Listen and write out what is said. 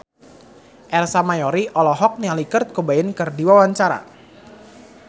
Ersa Mayori olohok ningali Kurt Cobain keur diwawancara